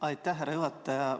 Aitäh, härra juhataja!